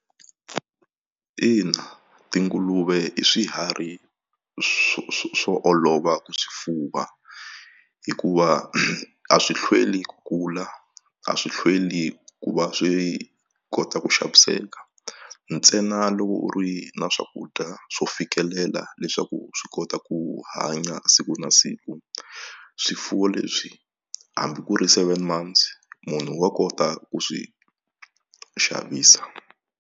Ina tinguluve i swiharhi swo olova ku swifuwa hikuva a swi hlweli ku kula a swi hlweli ku va swi kota ku xaviseka ntsena loko u ri na swakudya swo fikelela leswaku swi kota ku hanya siku na siku swifuwo leswi hambi ku ri seven months munhu wa kota ku swi xavisa.